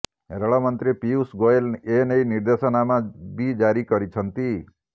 ରେଳ ମନ୍ତ୍ରୀ ପିୟୂଷ ଗୋଏଲ ଏନେଇ ନିର୍ଦ୍ଦେଶାନାମା ବି ଜାରି କରିଛନ୍ତି